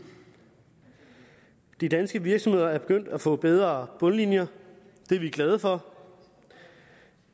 de danske virksomheder er begyndt at få bedre bundlinjer og det er vi glade for